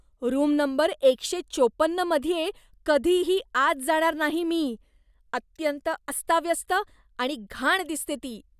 Room number एकशे चोपन्नमध्ये कधीही आत जाणार नाही मी, अत्यंत अस्ताव्यस्त आणि घाण दिसते ती.